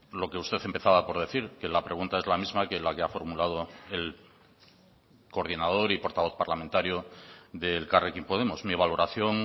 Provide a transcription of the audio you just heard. lo que usted empezaba por decir que la pregunta es la misma que la que ha formulado el coordinador y portavoz parlamentario de elkarrekin podemos mi valoración